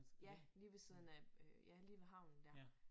Ja lige ved siden af øh ja lige ved havnen dér